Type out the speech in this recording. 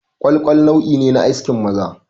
Ƙwalƙwal nau'i ne na askin maza